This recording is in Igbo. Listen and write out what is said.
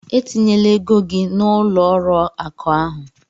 E tinyela ego gị na ụlọ ọrụ akụ ahụ!